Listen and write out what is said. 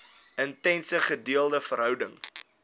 intense gedeelde verhouding